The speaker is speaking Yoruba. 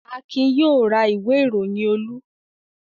Akin yóò ra ìwé-ìròyìn Olú.